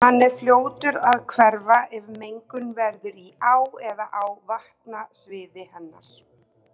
Hann er fljótur að hverfa ef mengun verður í á eða á vatnasviði hennar.